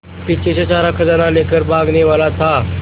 पीछे से सारा खजाना लेकर भागने वाला था